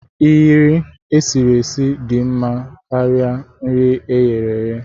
Nri e siri esi dị mma karịa nke eghere eghe.